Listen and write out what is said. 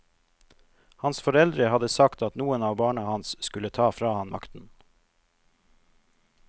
Hans foreldre hadde sagt at noen av barna hans skulle ta fra han makten.